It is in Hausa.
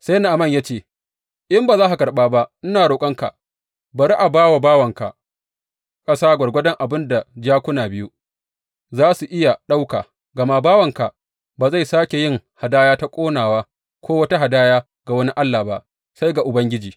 Sai Na’aman ya ce, In ba za ka karɓa ba, ina roƙonka, bari a ba wa bawanka ƙasa gwargwadon abin da jakuna biyu za su iya ɗauka, gama bawanka ba zai sāke yin hadaya ta ƙonawa, ko wata hadaya ga wani allah ba, sai ga Ubangiji.